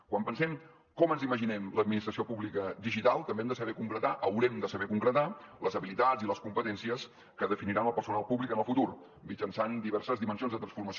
quan pensem com ens imaginem l’administració pública digital també hem de saber concretar haurem de saber concretar les habilitats i les competències que definiran el personal públic en el futur mitjançant diverses dimensions de transformació